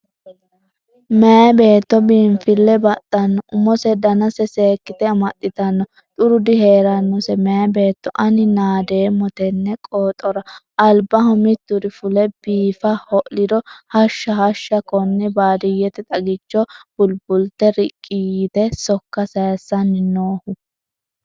Meyi beetto biinfile baxano umose danase seekkite amaxittano xuru diheranose meyi beetto ani naadeemmo tene qoxora, albaho mituri fule biifa ho'liro hashsha hashsha kone baadiyyete xagicho bulibultine riqqe yteti sokka saysanni noohu.